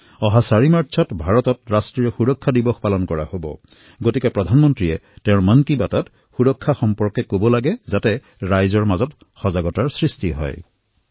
অহা ৪ মাৰ্চত ভাৰত ৰাষ্ট্ৰীয় সুৰক্ষা দিৱস সেয়ে প্ৰধানমন্ত্ৰীয়ে নিজৰ মন কী বাতৰ কাৰ্যক্ৰমত সুৰক্ষা সম্বন্ধে কিছু কথা কওক যাতে জনসাধাৰণে সুৰক্ষা সম্বন্ধে সজাগ হয়